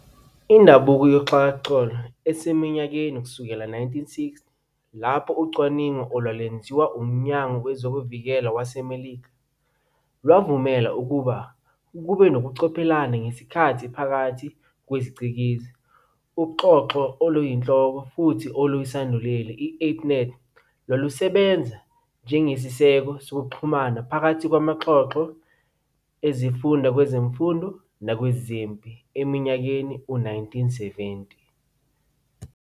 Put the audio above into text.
Indabuko yoxhakaxholo iseminyakeni yowezi-1960, lapho ucwaningo olwalwenziwa uMnyango wezokuVikela waseMelika lwavumela ukuba kube nokucobelelana ngesikhathi phakathi kweziCikizi. UXhoxho oluyinhloko oluyisanduleli, i-ARPANET, lwalusebenza njengesiseko sokuxhumana phakathi kwamaxhoxho ezifunda kwezemfundo nakwezempi eminyakeni yowezi-1970.